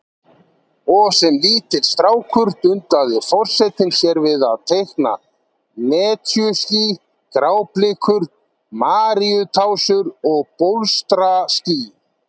Og sem lítill strákur dundaði forsetinn sér við að teikna netjuský, gráblikur, maríutásur og bólstraský.